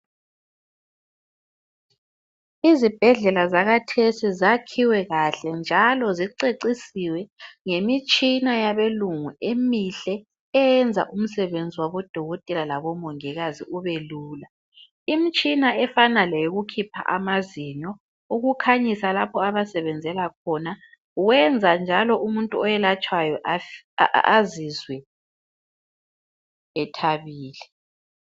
Izibhedlela zakathesi zakhiwe kahle njalo zicecisiwe ngemitshina yabelungu emihle eyenza umsebenzi wabodokotela labomongikazi ubelula. Imtshina efana leyokukhipha amazinyo, ukukhanyisa lapho abasebenzela khona wenza njalo umuntu oyelatshwayo azizwe ethabile.